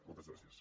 moltes gràcies